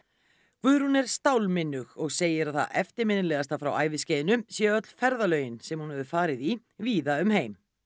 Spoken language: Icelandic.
Guðrún er og segir að það eftirminnilegasta frá æviskeiðinu séu öll ferðalögin sem hún hefur farið í víða um heim